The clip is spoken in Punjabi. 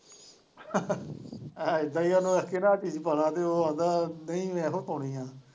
ਇੱਦਾਂ ਹੀ ਹੈ ਉਹਨੂੰ ਆਖੀ ਦਾ ਆਹ ਚੀਜ਼ ਪਾ ਲਾ ਤੇ ਉਹ ਆਂਦਾ ਨਹੀਂ ਇਹੋ ਪਾਉਣੀ ਹੈ।